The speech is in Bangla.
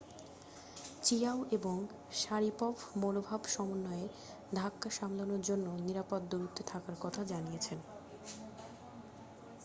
চিয়াও এবং শারিপভ মনোভাব সমন্বয়ের ধাক্কা সামলানোর জন্য নিরাপদ দূরত্বে থাকার কথা জানিয়েছেন